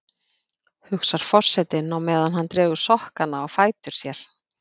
hugsar forsetinn á meðan hann dregur sokkana á fætur sér.